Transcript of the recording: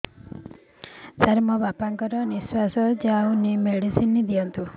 ସାର ମୋର ବାପା ଙ୍କର ନିଃଶ୍ବାସ ଯାଉନି ମେଡିସିନ ଦିଅନ୍ତୁ